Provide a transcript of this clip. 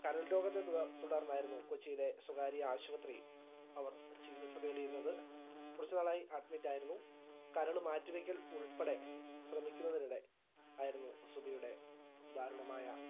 കരൾ രോഗത്തെ തുട തുടർന്നായിരുന്നു കൊച്ചിയിലെ സ്വകാര്യ ആശുപത്രി അവർ ചികിത്സ തേടിയിരുന്നത് കുറച്ചുനാളായി admit ആയിരുന്നു കരള് മാറ്റി വെക്കൽ ഉൾപ്പെടെ ശ്രമിക്കുന്നതിനിടെ ആയിരുന്നു സുബിയുടെ ദാരുണമായ